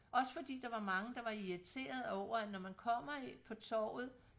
også fordi der var mange der var irriterede over at når man kommer på torvet